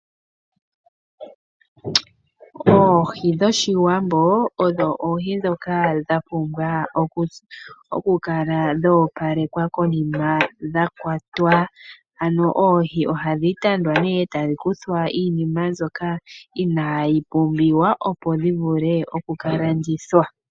Oohi dhOshiwambo odho oohi ndhoka hadhi kala dha pumbwa oku opalekwa konima konima dha kwatwa. Ano oohi ohadhi tandwa nee etadhi kuthwa iinima mbyoka inaayi pumbiwa opo dhi vule oku ka landithwa.